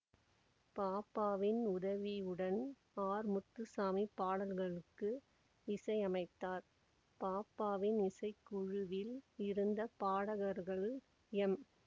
பாப்பாவின் உதவியுடன் ஆர் முத்துசாமி பாடல்களுக்கு இசையமைத்தார் பாப்பாவின் இசைக்குழுவில் இருந்த பாடகர்கள் எம்